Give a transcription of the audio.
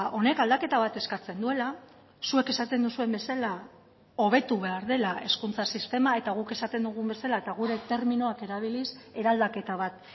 honek aldaketa bat eskatzen duela zuek esaten duzuen bezala hobetu behar dela hezkuntza sistema eta guk esaten dugun bezala eta gure terminoak erabiliz eraldaketa bat